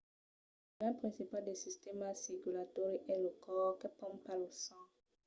l'organ principal del sistèma circulatòri es lo còr que pompa lo sang